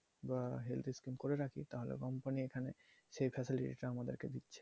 বা health scheme করে রাখি তাহলেও company আমাকে সেই facility টা আমাদের দিচ্ছে।